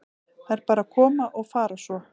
Þær bara koma og fara svo.